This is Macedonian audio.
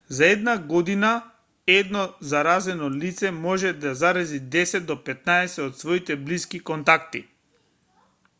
за една година едно заразено лице може да зарази 10 до 15 од своите блиски контакти